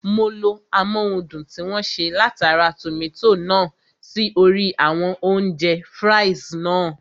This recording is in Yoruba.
Mo lo amóhundùn tí wọ́n ṣe látara tòmátò náà sí orí àwọn oúnjẹ (fries) náà